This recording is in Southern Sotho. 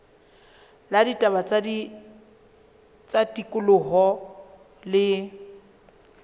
la ditaba tsa tikoloho le